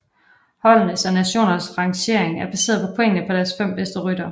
Holdenes og nationernes rangering er baseret på pointene på deres fem bedste ryttere